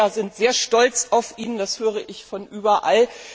Die Belgier sind sehr stolz auf ihn, das höre ich von überall.